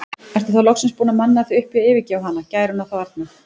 Ertu þá loksins búinn að manna þig upp í að yfirgefa hana, gæruna þá arna?